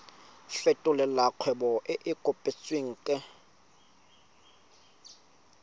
fetolela kgwebo e e kopetswengcc